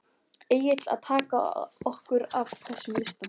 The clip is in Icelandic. Egill: Að taka okkur af þessum lista?